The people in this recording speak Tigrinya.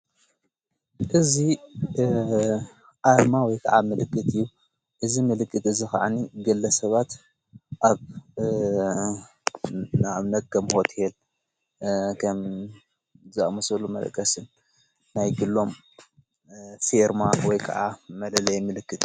እዚ ኣርማ ወይ ከዓ ምልክት እዩ እዝ ምልክት እዝ ኽዓኒ ግለ ሰባት ኣብ ናእምነ ከም ሆቴል ከም ዝኣመሰሉ መለቀስን ናይ ግሎም ፌርማ ወይ ከዓ መለለየ ምልክት